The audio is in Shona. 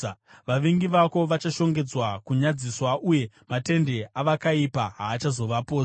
Vavengi vako vachashongedzwa kunyadziswa, uye matende avakaipa haachazovapozve.”